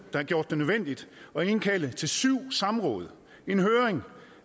har gjort det nødvendigt at indkalde til syv samråd en høring